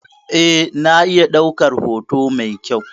Eh, na iya ɗaukar hoto mai kyau.